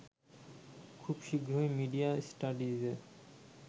খুব শীঘ্রই মিডিয়া স্টাডিজে